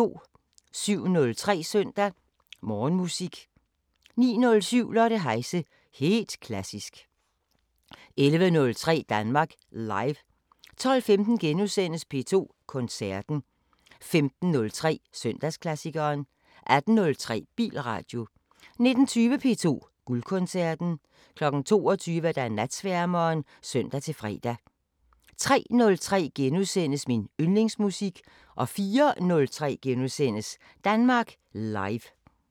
07:03: Søndag Morgenmusik 09:07: Lotte Heise – helt klassisk 11:03: Danmark Live 12:15: P2 Koncerten * 15:03: Søndagsklassikeren 18:03: Bilradio 19:20: P2 Guldkoncerten 22:00: Natsværmeren (søn-fre) 03:03: Min yndlingsmusik * 04:03: Danmark Live *